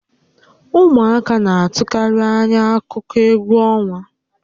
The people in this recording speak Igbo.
Ụmụaka na-atụkarị ányá akụkọ égwú ọnwa